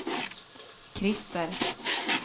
Christer